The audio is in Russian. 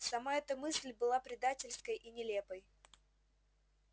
сама эта мысль была предательской и нелепой